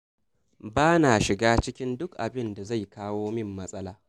Ba na shiga duk abin da na san zai kawo min matsala.